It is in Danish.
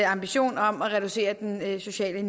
ambition om at reducere den negative sociale